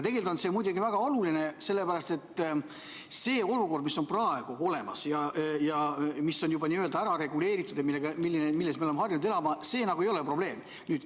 See on muidugi väga oluline, sest see olukord, mis praegu on ja mis on juba n‑ö ära reguleeritud ja milles me oleme harjunud elama, ei ole probleem.